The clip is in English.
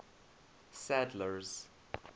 sadler's